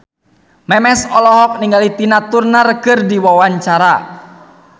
Memes olohok ningali Tina Turner keur diwawancara